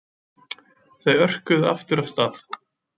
Þau örkuðu aftur af stað.